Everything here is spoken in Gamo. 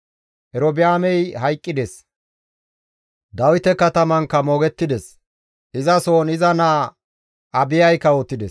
Erobi7aamey hayqqides; Dawite Katamankka moogettides; izasohon iza naa Abiyay kawotides.